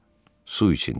Su iç dedi.